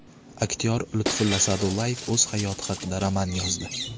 Aktyor Lutfulla Sa’dullayev o‘z hayoti haqida roman yozdi.